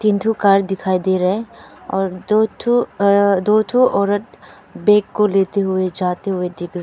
दो कार दिखाई दे रहे हैं और ठो आ दो ठो औरत बैग को लेते हुए जाते हुए दिख रहा--